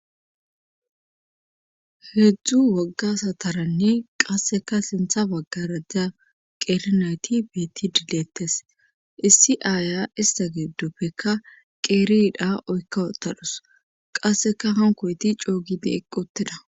Heedzdzu wagga sataranne qasseka siinththa baggarakka qeeri nayti beettidi deettees issi aaya ista giddoppekka qeeri yidhdha oykka utadus qasseka hankoyeti coo gidi eqqi uttida